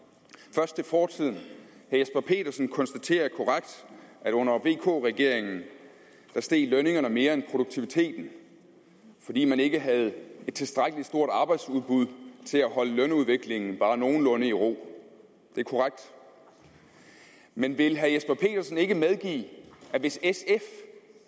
først fortiden og jesper petersen konstaterer korrekt at under vk regeringen steg lønningerne mere end produktiviteten fordi man ikke havde et tilstrækkelig stort arbejdsudbud til at holde lønudviklingen bare nogenlunde i ro det er korrekt men vil herre jesper petersen ikke medgive at hvis sf